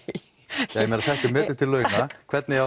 ég meina þetta er metið til launa hvernig